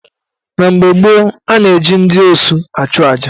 Na mgbe gboo, a na-eji ndị osu achuaja.